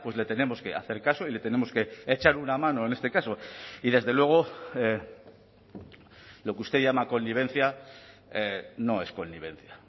le tenemos que hacer caso y le tenemos que echar una mano en este caso y desde luego lo que usted llama connivencia no es connivencia